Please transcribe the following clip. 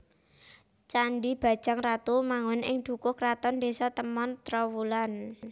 Candhi Bajang Ratu manggon ing Dukuh Kraton Désa Temon Trowulan